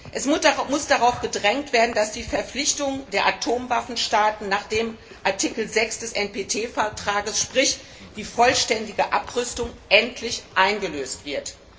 Es muss darauf gedrängt werden, dass die Verpflichtung der Atomwaffenstaaten nach Artikel 6 des Atomwaffensperrvertrags, sprich die vollständige Abrüstung, endlich eingelöst wird.